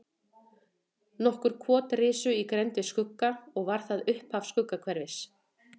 Nokkur kot risu í grennd við Skugga og var það upphaf Skuggahverfis.